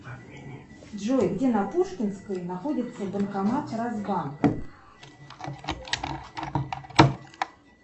джой где на пушкинской находится банкомат росбанк